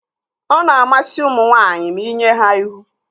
Ọ na-amasị ụmụ nwaanyị ma inye ha ihu